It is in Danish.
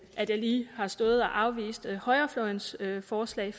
at jeg lige har stået og afvist højrefløjens forslag